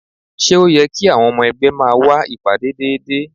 Ṣé ó yẹ kí àwọn ọmọ ẹgbẹ́ máa wá ìpàdé déédéé?